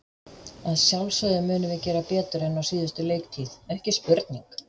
Að sjálfsögðu munum við gera betur en á síðustu leiktíð, ekki spurning.